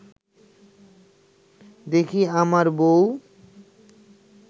দেখি আমার বউ